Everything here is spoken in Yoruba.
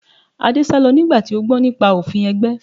Adé sálọ nígbà tí ó gbọ́ nípa òfin ẹgbẹ́